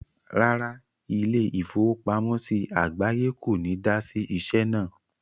Rárá, ilé-ìfowópamọ́sí àgbáye kò ní dá sí iṣẹ́ náà.